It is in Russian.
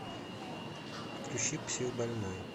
включи психбольной